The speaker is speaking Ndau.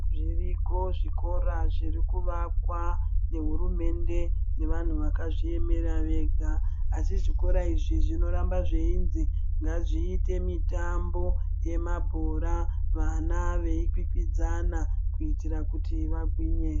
Zviriko zvikora zvirikuakwa nehurumende nevanhu vakazviemera vega asi zvikora izvi zvinoramba zveizi ngazviite mitambo yemabhora. Vana veikwikwidzana kuitira kuti vagwinye.